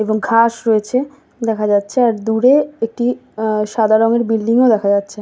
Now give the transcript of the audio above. এবং ঘাস রয়েছে দেখা যাচ্ছে আর দূরে একটি আহ সাদা রঙের বিল্ডিং ও দেখা যাচ্ছে।